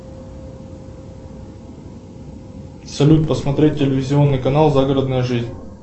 салют посмотреть телевизионный канал загородная жизнь